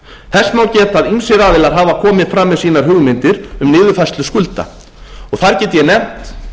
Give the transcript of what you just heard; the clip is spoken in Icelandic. þess má geta að ýmsir aðilar hafa komið fram með sínar hugmyndir um niðurfærslu skulda þar get ég nefnt